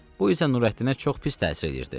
Bu isə Nürəddinə çox pis təsir edirdi.